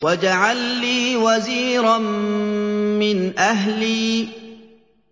وَاجْعَل لِّي وَزِيرًا مِّنْ أَهْلِي